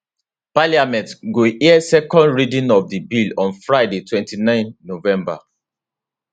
parliament go hear second reading of di bill on friday 29 november